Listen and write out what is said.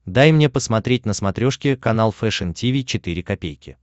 дай мне посмотреть на смотрешке канал фэшн ти ви четыре ка